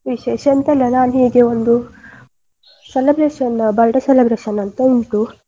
ವಿಶೇಷ ಎಂತ ಅಲ್ಲ ನಾನು ಹೀಗೆ ಒಂದು celebration birthday celebration ಉಂಟು.